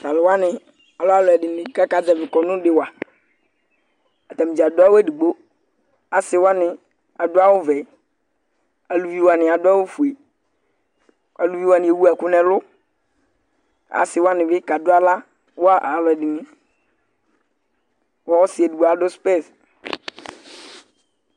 Tʋ alʋ wanɩ, alɛ alʋɛdɩnɩ kʋ akazɛvɩ kɔnʋ dɩ wa Atanɩ dza adʋ awʋ edigbo Asɩ wanɩ adʋ awʋvɛ Aluvi wanɩ adʋ awʋfue Aluvi wanɩ ewu ɛkʋ nʋ ɛlʋ Asɩ wanɩ bɩ kadʋ aɣla wa alʋ ɛdɩnɩ kʋ ɔsɩ edigbo adʋ spɛs